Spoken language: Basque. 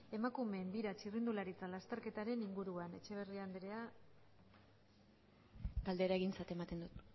emakumeen bira txirrindularitza lasterketaren inguruan etxeberria anderea galdera egintzat ematen dut